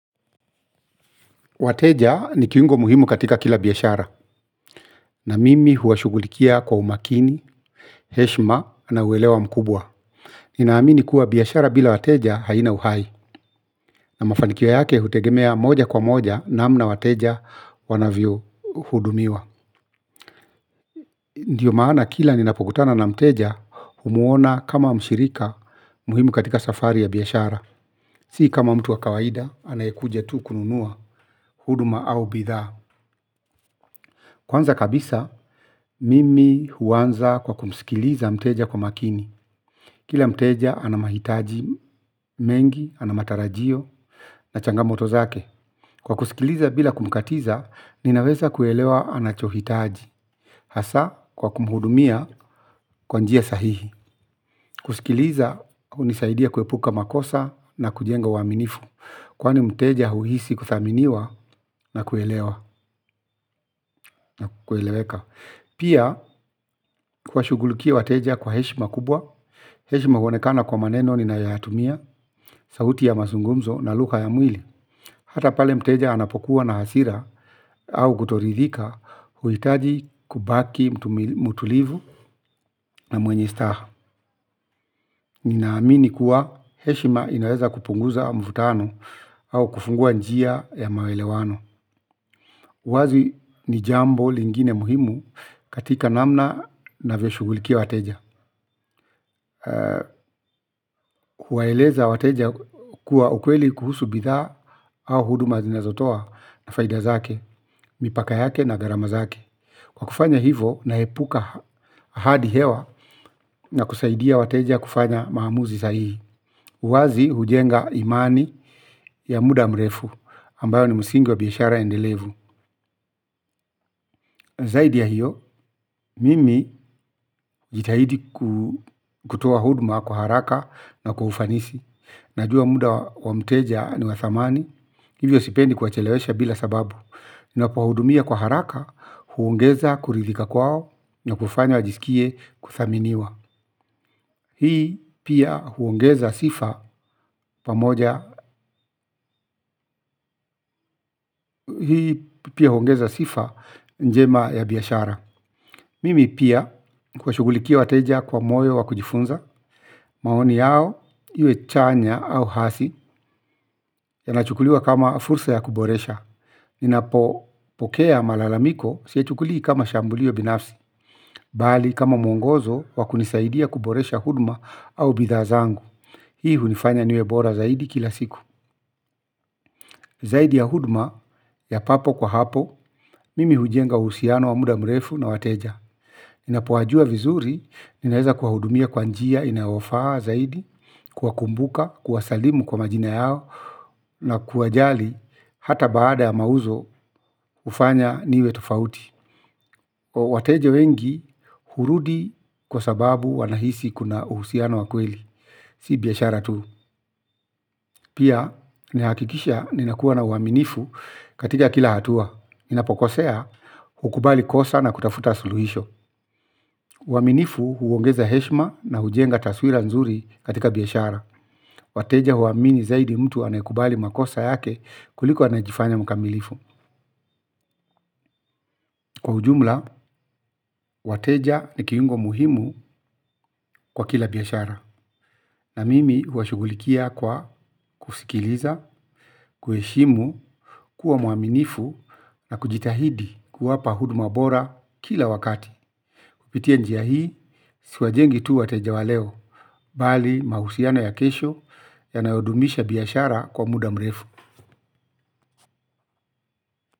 Wateja ni kiungo muhimu katika kila biashara, na mimi huwashughulikia kwa umakini, heshma na uelewa mkubwa. Ninaamini kuwa biashara bila wateja haina uhai, na mafanikio yake hutegemea moja kwa moja namna wateja wanavyohudumiwa. Ndiyo maana kila ninapokutana na mteja, humuona kama mshirika muhimu katika safari ya biashara. Sii kama mtu wa kawaida anayekuja tu kununua huduma au bidhaa. Kwanza kabisa, mimi huanza kwa kumsikiliza mteja kwa makini. Kila mteja ana mahitaji mengi, ana matarajio, na changamoto zake. Kwa kusikiliza bila kumkatiza, ninaweza kuelewa anachohitaji. Hasa, kwa kumhudumia, kwa njia sahihi. Kusikiliza, hunisaidia kuepuka makosa na kujenga uaminifu. Kwani mteja huhisi kuthaminiwa na kuelewa, na kueleweka. Pia, kuwashughulikia wateja kwa heshma kubwa, heshma huonekana kwa maneno ninayoyatumia, sauti ya mazungumzo na lugha ya mwili. Hata pale mteja anapokuwa na hasira, au kutoridhika, huhitaji kubaki mtulivu na mwenye staha. Ninaamini kuwa heshma inaweza kupunguza mvutano, au kufungua njia ya maelewano. Uwazi ni jambo lingine muhimu katika namna navyoshughulikia wateja. Kuwaeleza wateja kuwa ukweli kuhusu bidhaa au huduma zinazotoa na faida zake, mipaka yake na gharama zake. Kwa kufanya hivo naepuka hadi hewa na kusaidia wateja kufanya maamuzi sahihi. Uwazi hujenga imani ya muda mrefu ambayo ni msingi wa biashara endelevu. Zaidi ya hiyo, mimi jitahidi kutoa huduma kwa haraka na kwa ufanisi. Najua muda wa mteja ni wa thamani, hivyo sipendi kuwachelewesha bila sababu. Napowahudumia kwa haraka, huongeza kuridhika kwao na kufanya wajisikie kuthaminiwa. Hii pia huongeza sifa pamoja hii pia huongeza sifa njema ya biashara. Mimi pia huwashughulikia wateja kwa moyo wa kujifunza, maoni yao, iwe chanya au hasi, yanachukuliwa kama fursa ya kuboresha. Ninapopokea malalamiko siyachukulii kama shambulio binafsi, bali kama mwongozo wa kunisaidia kuboresha huduma au bidhaa zangu. Hii hunifanya niwe bora zaidi kila siku. Zaidi ya huduma, ya papo kwa hapo, mimi hujenga uhusiano wa muda mrefu na wateja. Ninapowajua vizuri, ninaweza kwa hudumia kwa njia inayofaa zaidi, kuwakumbuka, kuwasalimu kwa majina yao na kuwajali hata baada ya mauzo hufanya niwe tofauti. Wateja wengi hurudi kwa sababu wanahisi kuna uhusiano wa kweli, si biashara tu. Pia, nahakikisha ninakuwa na uaminifu katika kila hatua. Ninapokosea hukubali kosa na kutafuta suluhisho. Uaminifu huongeza heshma na hujenga taswira nzuri katika biashara. Wateja huamini zaidi mtu anayekubali makosa yake kuliko anayejifanya mkamilifu. Kwa ujumla, wateja ni kiungo muhimu kwa kila biashara, na mimi huwashughulikia kwa kusikiliza, kuheshimu, kuwa muaminifu na kujitahidi kuwapa huduma bora kila wakati. Kupitia njia hii, siwajengi tu wateja wa leo, bali mahusiano ya kesho yanayodumisha biashara kwa muda mrefu.